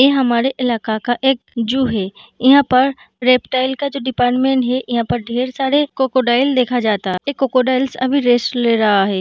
ये हमारे इलाका का एक ज़ू है | यहाँ पर रेपटाइल का जो डिपार्टमेंट है यहाँ पर ढेर सारे क्रोकोडाइल देखा जाता। ये क्रोकोडाइल अभी रेस्ट ले रहा है।